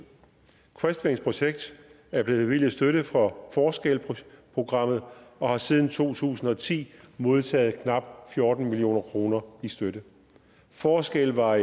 crestwings projekt er blevet bevilget støtte fra forskel programmet og har siden to tusind og ti modtaget knap fjorten million kroner i støtte forskel var